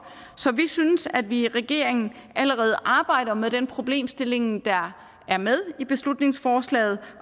så vi synes at vi i regeringen allerede arbejder med den problemstilling der er med i beslutningsforslaget